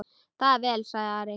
Það er vel, sagði Ari.